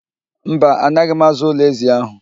Mba, anaghị m aza ụlọ ézì ahụ.